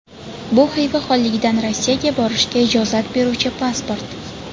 Bu Xiva xonligidan Rossiyaga borishga ijozat beruvchi pasport.